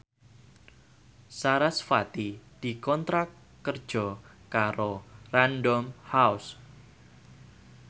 sarasvati dikontrak kerja karo Random House